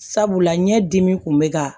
Sabula ɲɛdimi kun bɛ ka